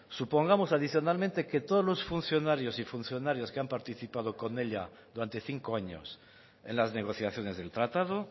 supongamos adicionalmente que todos los funcionarios y funcionarias que han participado con ella durante cinco años en las negociaciones del tratado